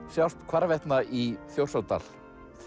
sjást hvarvetna í Þjórsárdal